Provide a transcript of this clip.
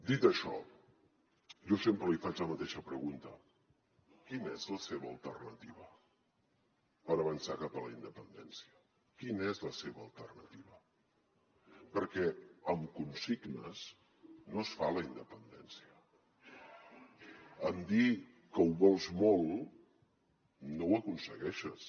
dit això jo sempre li faig la mateixa pregunta quina és la seva alternativa per avançar cap a la independència quina és la seva alternativa perquè amb consignes no es fa la independència amb dir que ho vols molt no ho aconsegueixes